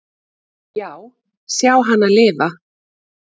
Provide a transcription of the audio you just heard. """Já, sjá hana lifa."""